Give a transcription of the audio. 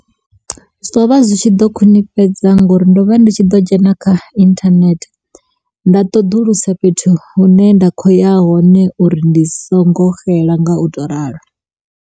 Zwo vha zwi tshi ḓo khwinifhadza ngauri ndo vha ndi tshi ḓo dzhena kha internet nda ṱoḓulusisa fhethu hune nda khou ya hone uri ndi songo xela nga u to ralo.